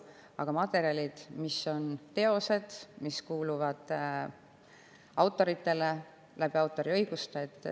Aga teosed kuuluvad autoritele autoriõigusega.